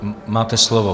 Máte slovo.